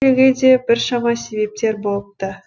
келуге де біршама себептер болыпты